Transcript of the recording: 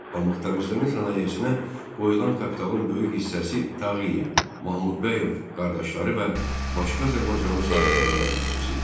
Pambıq təmizləmə sənayesinə qoyulan kapitalın böyük hissəsi Tağıyev, Mahmudbəyov qardaşları və başqa azərbaycanlı sahibkarlara məxsus idi.